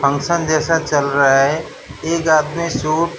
function जैसा चल रहा है एक आदमी सूट --